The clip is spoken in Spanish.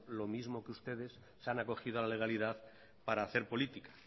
lo mismo que ustedes se han acogido a la legalidad para hacer política